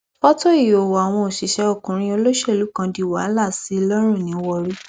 fọtò ìhòòhò àwọn òṣìṣẹ ọkùnrin olóṣèlú kan di wàhálà sí i lọrùn ní warri